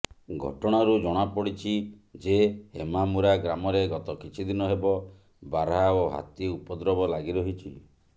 ଘଟଣାରୁ ଜଣାପଡ଼ିଛି ଯେ ହେମାମୁରା ଗ୍ରାମରେ ଗତ କିଛିଦିନ ହେବ ବାର୍ହା ଓ ହାତୀ ଉପଦ୍ରବ ଲାଗି ରହିଛି